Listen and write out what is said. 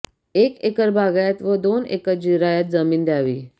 एक एकर बागायत वा दोन एकर जिरायत जमीन द्यावी